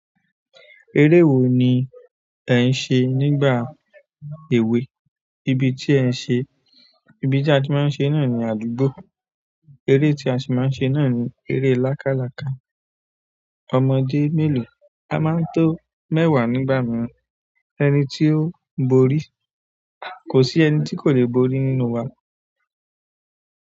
Eré wo ni ẹ̀ ń ṣe nígbà èwe? Ibi tí ẹ̀ ń ṣe, ibi tí a ti máa ń ṣe náà ni àdúgbò. Eré tí a sì máa ń ṣe náà ni eré lákálàká. Ọmọdé mélòó? A máa ń tó mẹ́wàá nígbà mìíràn. Ẹni tí ó borí? Kò sí ẹni tí kò lè borí nínú wa.